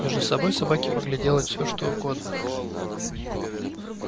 между собой собаки могли делать всё что угодно